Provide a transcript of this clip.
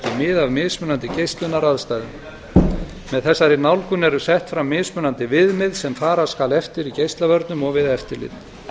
mið af mismunandi geislunaraðstæðum með þessari nálgun eru sett fram mismunandi viðmið sem fara skal eftir í geislavörnum og við eftirlit